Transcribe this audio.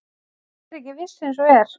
Ég er ekki viss eins og er.